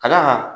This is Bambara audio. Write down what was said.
Ka d'a kan